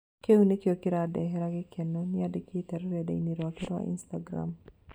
"Kĩu nĩkĩo kĩrandehera gĩkeno" nĩandĩkĩte rũrendai-inĩ rwake rwa Instagram